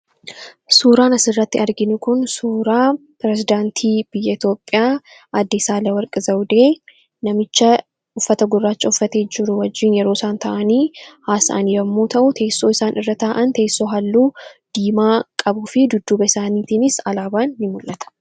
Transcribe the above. Suuraan asirratti arginu kun suuraa pirezedaantii Itoophiyaa aaddee Saahilewarq Zawudee namicha uffata gurraacha uffatee yeroo isaan taa'anii haasa'an yoo ta'u, kan isaan irra taa'an teessoo halluu diimaa qabuu fi gidduu isaaniitiis alaabaan ni mul'ata.